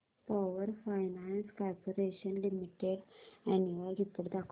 power finance corporation limited annual report दाखव